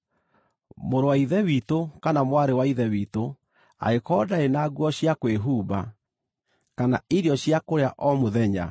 Mũrũ wa Ithe witũ kana mwarĩ wa Ithe witũ angĩkorwo ndarĩ na nguo cia kwĩhumba, kana irio cia kũrĩa o mũthenya,